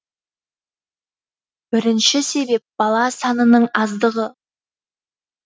бірінші себеп бала санының аздығы